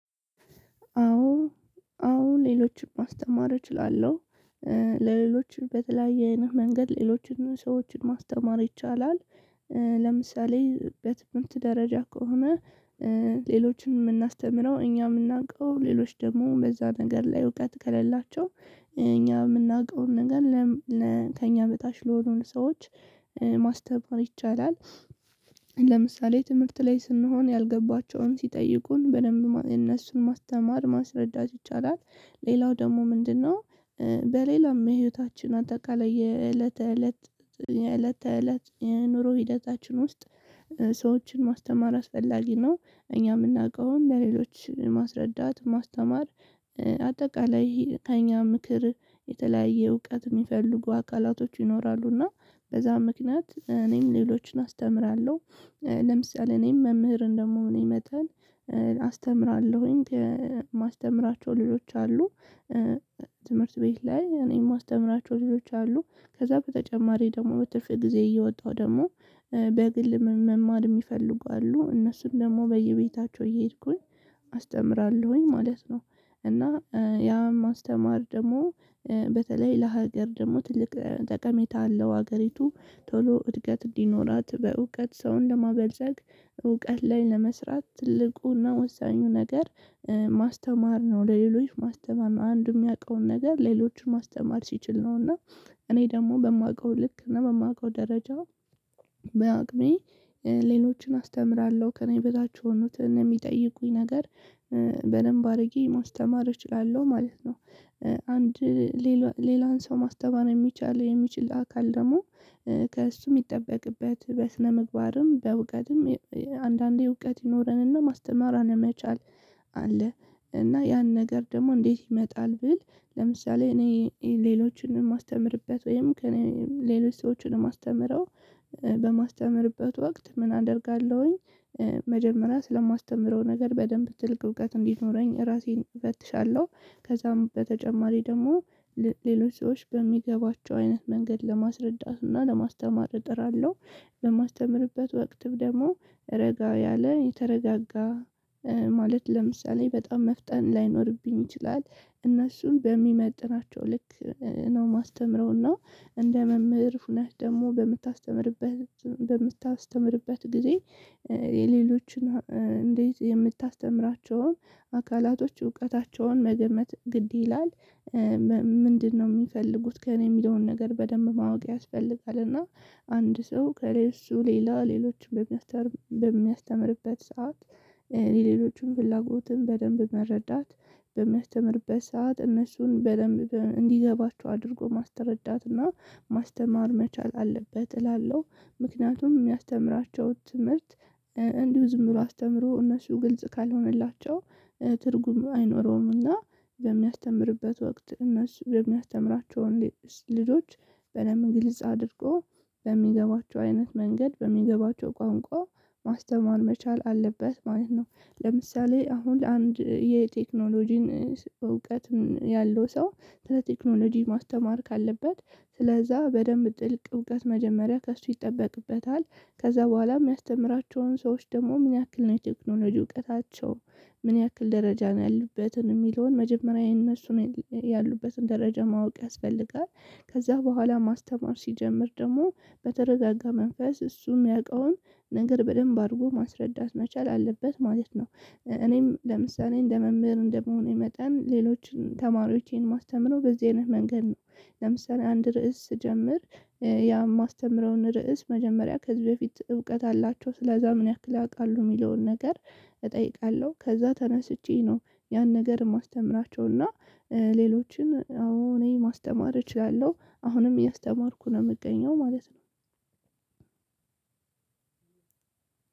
አዎ አሁን ሌሎችን ማስተማር እችላለሁ። ለሌሎች በተለያየ አይነት መንገድ ሌሎችንም ሰዎችን ማስተማር ይቻላል። ለምሳሌ በትምህርት ደረጃ ከሆነ። ሌሎችን የምናስተምረው እኛ የምናውቀው ሌሎች ደግሞ በዛ ነገር ላይ እውቀት ከሌላቸው እኛ የምናውቀውን ነገር። ከእኛ በታች ለሆኑ ሰዎች ማስተማር ይቻላል። ለምሳሌ ትምህርት ላይ ስንሆን ያልገባቸውን ሲጠይቁን በደንብ እነሱን ማስተማር ማስረዳት ይቻላል ሌላው ደግሞ ምንድነው? በሌላም ህይወታችን አጠቃላይ የዕለተ እለት የእለተ እለት ኑሮ ሂደታችን ውስጥ ሰዎችን ማስተማር አስፈላጊ ነው። እኛ የምናውቀውን ለሌሎች ማስረዳት ማስተማር አጠቃላይ ከእኛ ምክር የተለያየ እውቀት የሚፈልጉ አካላቶች ይኖራሉ እና በዛ ምክንያት እኔም ሌሎችን አስተምራለሁ። ለምሳሌ እኔም መምህር እንደመሆኔ መጠን አስተምራለሁኝ ከማስተምራቸው ልጆች አሉ። ትምህርት ቤት ላይ እኔም ማስተምራቸው ልጆች አሉ ከዛ በተጨማሪ ደግሞ በትርፍ ጊዜዬዬ እየወጣሁ ደግሞ በግል መማር የሚፈልጉ አሉ እነሱም ደግሞ በየቤታቸው እየሄድኩኝ አስተምራለሁኝ ማለት ነው። እና ያ ማስተማር ደግሞ በተለይ ለሀገር ደግሞ ትልቅ ጠቀሜታ አለው። ሀገሪቱ ቶሎ እድገት እንዲኖራት በእውቀት ሰው ለማበልፀግ እውቀት ላይ ለመስራት ትልቁና ወሳኙ ነገር ማስተማር ነው። ለሌሎች ማስተማር አንዱ የሚያውቀውን ነገር ሌሎችን ማስተማር ሲችል ነው። እና እኔ ደግሞ በማውቀው ልክና በማውቀው ደረጃ በአቅሜ ሌሎችን አስተምራለሁ ከእኔ በታች የሆኑትን እኔ የሚጠይቁኝ ነገር በደንብ አድርጌ መውሰድ ተማሪ እችላለሁ ማለት ነው። አንድ ሌላን ሰው ማስተማር የሚቻል የሚችል አካል ደግሞ ከእርሱም የሚጠበቅበት በስነምግባርም በእውቀትም አንዳንዴ እውቀት ይኖረንና ማስተማራን አለመቻል አለ። እና ያን ነገር ደግሞ እንዴት ይመጣል ብል? ለምሳሌ እኔ ሌሎችንም የማስተምርበት ወይም ከእኔ ሌሎች ሰዎችን የማስተምረው በማስተምርበት ወቅት ምን አደርጋለሁኝ? መጀመሪያ ስለማስተምረው ነገር በደንብ ትልቅ እውቀት እንዲኖረኝ ራሴን እፈትሻለሁ። ከዛም በተጨማሪ ደግሞ ሌሎች ሰዎች በሚገባቸው አይነት መንገድ ለማስረዳትና ለማስተማር እጥራለሁ። በማስተምርበት ወቅት ደግሞ ረጋ ያለ የተረጋጋ ማለት ለምሳሌ በጣም መፍጠን ላይኖርብኝ ይችላል። እነሱን በሚመጥናቸው ልክ ነው የማስተምረውና እንደ መምህር ሁኔታ ደግሞ በምታስተምርበት ጊዜ የሌሎችን እንዴት የምታስተምራቸውን አካላቶች እውቀታቸውን መገመት ግድ ይላል። ምንድነው የሚፈልጉት ከእኔ የሚለውን ነገር በደንብ ማወቅ ያስፈልጋል። እና አንድ ሰው ከእርሱ ሌላ ሌሎችን በሚያስተምርበት ሰዓት የሌሎችን ፍላጎትን በደንብ መረዳት በሚያስተምርበት ሰዓት እነሱን በደንብ እንዲገባቸው አድርጎ ማስተረዳትና ማስተማር መቻል አለበት። እላለሁ ምክንያቱም የሚያስተምራቸውን ትምህርት እንዲሁ ዝም ብሎ አስተምሮ እነሱ ግልጽ ካልሆነላቸው ትርጉም አይኖረውምና። በሚያስተምርበት ወቅት እነሱ የሚያስተምራቸውን ልጆች በደንብ ግልጽ አድርጎ በሚገባቸው አይነት መንገድ በሚገባቸው ቋንቋ ማስተማር መቻል አለበት ማለት ነው። ለምሳሌ አሁን ለአንድ የቴክኖሎጂን እውቀትን ያለው ሰው ስለ ቴክኖሎጂ ማስተማር ካለበት ስለዛ በደንብ ጥልቅ እውቀት መጀመሪያ ከእሱ ይጠበቅበታል። ከዛ በኋላም የሚያስተምራቸውን ሰዎች ደግሞ ምን ያክል ነው ቴክኖሎጂ እውቀታቸው? ምን ያክል ደረጃ ነው ያሉበትን የሚለውን መጀመሪያ የነሱን ያሉበትን ደረጃ ማወቅ ያስፈልጋል። ከዛ በኋላ ማስተማር ሲጀምር ደግሞ በተረጋጋ መንፈስ እሱም ያውቀውን ነገር በደንብ አድርጎ ማስረዳት መቻል አለበት ማለት ነው። እኔም ለምሳሌ መምህር እንደ መሆኔ የመጣን ሌሎች ተማሪዎችን የማስተምረው በዚህ አይነት መንገድ ነው። ለምሳሌ አንድ ርዕስ ስጀምር። ያ የማስተምረውን ርዕስ መጀመሪያ ከዚህ በፊት እውቀት አላቸው ስለዛ ምን ያክል ያውቃሉ የሚለውን ነገር እጠይቃለሁ። ከዛ ተነስቼ ነው። ያን ነገር የማስተምራቸው እና ሌሎችን አሁን እኔ ማስተማር እችላለሁ አሁንም እያስተማርኩ ነው የምገኘው ማለት ነው።